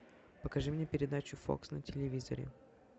покажи мне передачу фокс на телевизоре